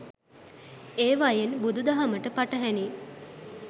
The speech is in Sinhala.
ඒවයන් බුදුදහමට පටහැනි